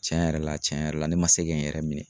Tiɲɛ yɛrɛ la tiɲɛ yɛrɛ la ne ma se kɛ n yɛrɛ minɛ